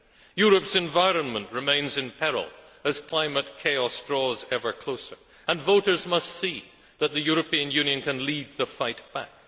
Europe's environment remains in peril as climate chaos draws ever closer and voters must see that the European Union can lead the fight back.